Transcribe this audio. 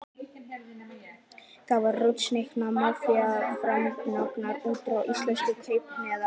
Er það rússneska mafían sem fjármagnar útrás íslenskra kaupahéðna?